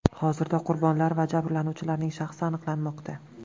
Hozirda qurbonlar va jabrlanuvchilarning shaxsi aniqlanmoqda.